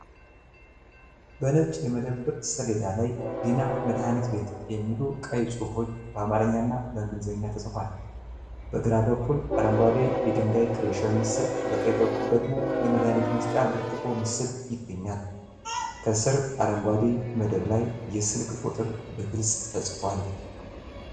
በነጭ የመደብር ሰሌዳ ላይ "ዲና መድኃኒት ቤት" የሚሉ ቀይ ጽሑፎች በአማርኛና በእንግሊዝኛ ተፅፏል። በግራ በኩል አረንጓዴ የድንጋይ ክሬሸር ምስል፣ በቀኝ በኩል ደግሞ የመድኃኒት መስጫ ብርጭቆ ምስል ይገኛል። ከስር፣ አረንጓዴ መደብ ላይ የስልክ ቁጥር በግልጽ ተጽፏል፡።